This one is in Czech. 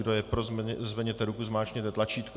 Kdo je pro, zvedněte ruku, zmáčkněte tlačítko.